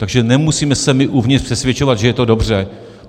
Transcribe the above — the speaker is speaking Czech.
Takže nemusíme se my uvnitř přesvědčovat, že je to dobře.